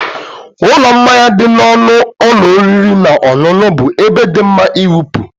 Ụlọ mmanya dị n'ọnụ ụlọ oriri na ọṅụṅụ bụ ebe dị mma ịwụpụ.